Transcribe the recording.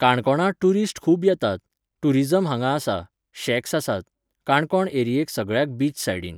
काणकोणां टुरिस्ट खूब येतात, टुरिजम हांगा आसा, शॅक्स आसात, काणकोण एरियेक सगळ्याक बीच सायडीन.